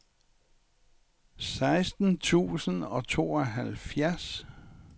seksten tusind og tooghalvtreds